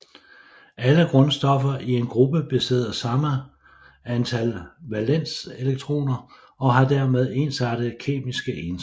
Alle grundstoffer i en gruppe besidder samme antal valenselektroner og har dermed ensartede kemiske egenskaber